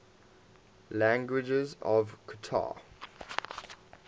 languages of qatar